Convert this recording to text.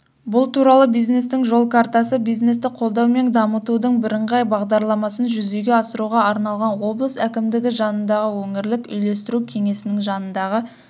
бұл туралы бизнестің жол картасы бизнесті қолдау мен дамытудың бірыңғай бағдарламасын жүзеге асыруға арналған облыс әкімдігі жанындағы өңірлік үйлестіру кеңесінің жанындағы